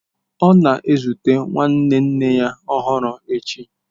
Ọ na-ezute nwanne nne ya ọhụrụ echi